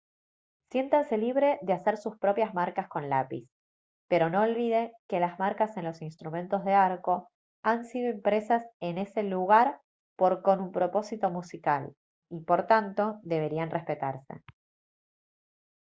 siéntase libre de hacer sus propias marcas con lápiz pero no olvide que las marcas en los instrumentos de arco han sido impresas en ese lugar por con un propósito musical y por tanto deberían respetarse